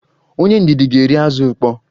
Onye ndidi ga-eri azụ ukpoo